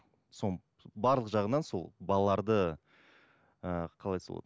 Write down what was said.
сол барлық жағынан сол балаларды ыыы қалай айтса болады